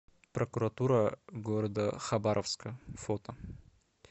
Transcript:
прокуратура г хабаровска фото